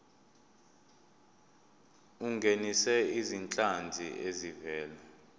ungenise izinhlanzi ezivela